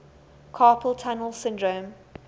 carpal tunnel syndrome